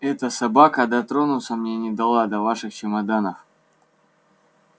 эта собака дотронуться мне не дала до ваших чемоданов